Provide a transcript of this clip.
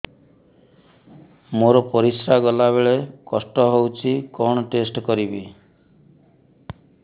ମୋର ପରିସ୍ରା ଗଲାବେଳେ କଷ୍ଟ ହଉଚି କଣ ଟେଷ୍ଟ କରିବି